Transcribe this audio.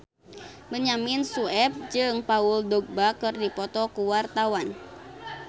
Benyamin Sueb jeung Paul Dogba keur dipoto ku wartawan